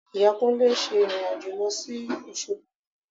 Ìyá Kúnlé ń ṣe ìrìn-àjò lọ sí Òṣogbo